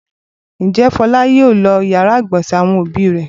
Ǹjẹ́ Fọlá yóò lo ìyàrá-ìgbọ̀nsẹ̀ àwọn òbí rẹ̀?